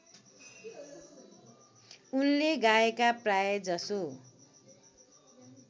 उनले गाएका प्रायजसो